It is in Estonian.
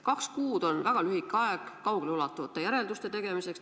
Kaks kuud on väga lühike aeg kaugeleulatuvate järelduste tegemiseks.